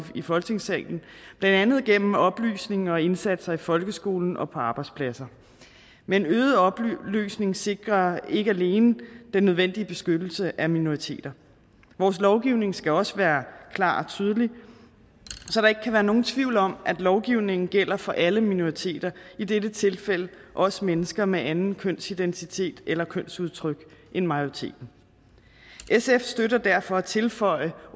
i folketingssalen blandt andet gennem oplysninger og indsatser i folkeskolen og på arbejdspladser men øget oplysning sikrer ikke alene den nødvendige beskyttelse af minoriteter vores lovgivning skal også være klar og tydelig så der ikke kan være nogen tvivl om at lovgivningen gælder for alle minoriteter i dette tilfælde også mennesker med en anden kønsidentitet eller kønsudtryk end majoriteten sf støtter derfor at tilføje